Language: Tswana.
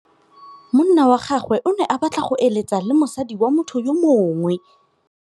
Monna wa gagwe o ne a batla go êlêtsa le mosadi wa motho yo mongwe.